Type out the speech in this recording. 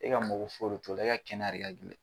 E ka mago foyi de t'o la e ka kɛnɛya de ka gɛlɛn